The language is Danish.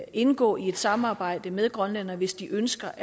indgå i et samarbejde med grønland hvis de ønsker